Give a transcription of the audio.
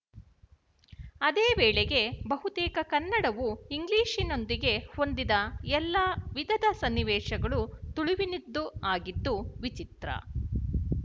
ಅದೇ ವೇಳೆಗೆ ಬಹುತೇಕ ಕನ್ನಡವು ಇಂಗ್ಲಿಶಿನೊಂದಿಗೆ ಹೊಂದಿದ ಎಲ್ಲಾ ವಿಧದ ಸನ್ನಿವೇಶಗಳು ತುಳುವಿನದ್ದೂ ಆಗಿದ್ದು ವಿಚಿತ್ರ